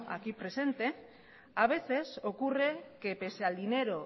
aquí presente a veces ocurre que pese al dinero